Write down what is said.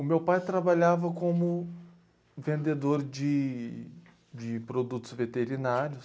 O meu pai trabalhava como vendedor de de produtos veterinários.